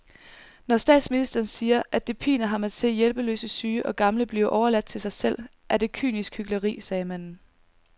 Når statsministeren siger, at det piner ham at se hjælpeløse syge og gamle blive overladt til sig selv, er det kynisk hykleri, sagde manden